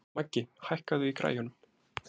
Maggi, hækkaðu í græjunum.